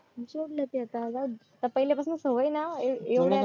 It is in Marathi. सोडला तर चालत पण पाहिल्या पासून सवय ना